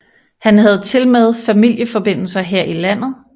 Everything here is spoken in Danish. Han havde tilmed familieforbindelser her i landet